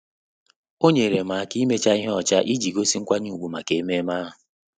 Ọ́ nyèrè m áká íméchá ihe ọcha iji gósí nkwanye ùgwù màkà ememe ahụ.